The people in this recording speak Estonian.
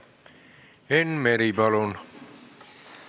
Enn Meri, palun!